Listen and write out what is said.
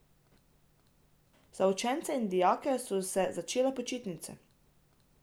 Za učence in dijake so se začele počitnice.